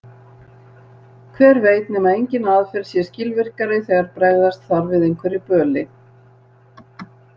Hver veit nema engin aðferð sé skilvirkari þegar bregðast þarf við einhverju böli.